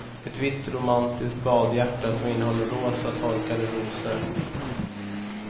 Ett vitt romantiskt badhjärta som innehåller rosa torkade rosor.